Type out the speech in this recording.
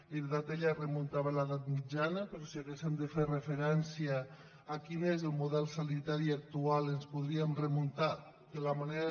en realitat ella es remuntava a l’edat mitjana però si haguéssem de fer referència a quin és el model sanitari actual ens podríem remuntar de la manera